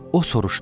O soruşdu.